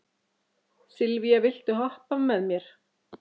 Sylvía, viltu hoppa með mér?